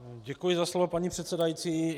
Děkuji za slovo, paní předsedající.